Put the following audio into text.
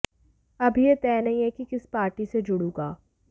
अभी ये तय नहीं है कि किस पार्टी से जुड़ूँगा